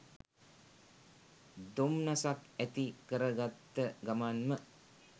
දොම්නසක් ඇති කරගත්ත ගමන්ම